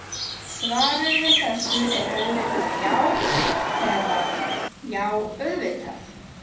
Svarið við þessu er auðvitað já eða: já, auðvitað!